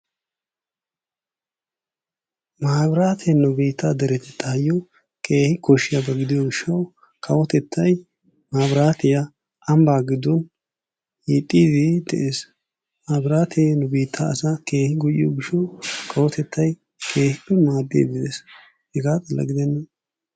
Maabiraatee nu biittaa deriyayyo keehi koshshiyaba gidiyo gishshawu kawotettay maabiraatiya ambbaa giddon yeddiiddi de'ees. Maabiraatee nu biittaa asaa kewhippe go'iyo gishshawu kawotettay keehippebmaaddiiddi de'ees. Hegaa xalla gidenna,,,